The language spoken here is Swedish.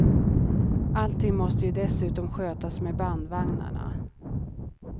Allting måste ju dessutom skötas med bandvagnarna.